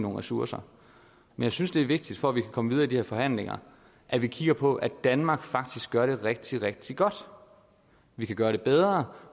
ressourcer jeg synes det er vigtigt for at vi kan komme videre i de her forhandlinger at vi kigger på at danmark faktisk gør det rigtig rigtig godt vi kan gøre det bedre